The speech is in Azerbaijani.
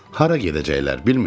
Hara gedəcəklər bilmirsən?